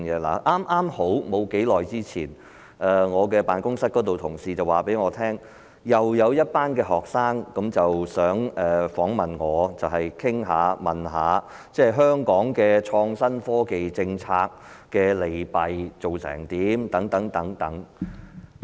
剛好在不久之前，我的辦公室同事告訴我，又有一群學生想訪問我關於香港的創新科技政策的現況和利弊等。